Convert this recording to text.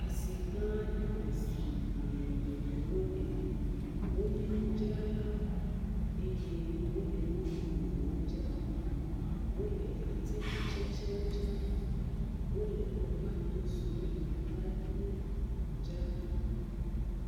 Asi gã aɖe me si ame geɖewo le. Wonye nudzralawo eye wole enu vovovowo dzram. Wole atikutsetsewo dzram, wole tomatosiwo, atadiwo dzram.